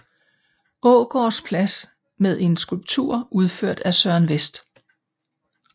Aagaards Plads med en skulptur udført af Søren West